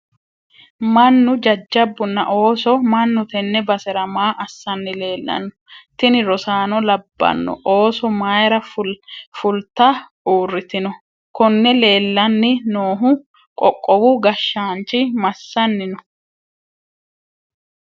mannu jajjabbunna oosi mannu tenne basera maa assanni leellanno? tini rosaano labbanno osso mayira fulta uurritino? konne leellanni noohu qoqowu gashshaanchi massanni no?